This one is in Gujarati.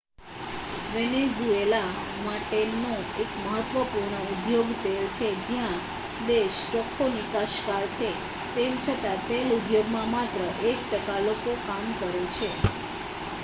વેનેઝુએલા માટેનો એક મહત્વપૂર્ણ ઉદ્યોગ તેલ છે જ્યાં દેશ ચોખ્ખો નિકાસકાર છે તેમ છતાં તેલ ઉદ્યોગમાં માત્ર એક ટકા લોકો કામ કરે છે